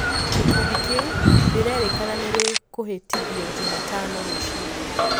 Gikundi kiu rirerekana nirikuihitithio Jumatano rũcini.